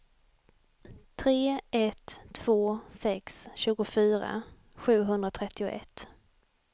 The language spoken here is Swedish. tre ett två sex tjugofyra sjuhundratrettioett